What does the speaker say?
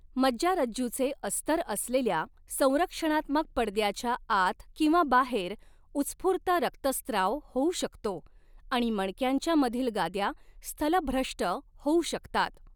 मज्जारज्जूचे अस्तर असलेल्या संरक्षणात्मक पडद्याच्या आत किंवा बाहेर उत्स्फूर्त रक्तस्त्राव होऊ शकतो आणि मणक्यांच्या मधील गाद्या स्थलभ्रष्ट होऊ शकतात.